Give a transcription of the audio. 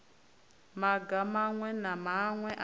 maga maṅwe na maṅwe a